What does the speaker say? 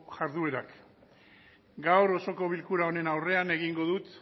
jarduerak gaur osoko bilkura honen aurrean egingo dut